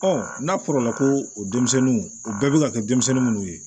n'a fɔra ko o denmisɛnninw o bɛɛ bɛ ka kɛ denmisɛnnin minnu ye